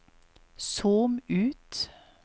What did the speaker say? zoom ut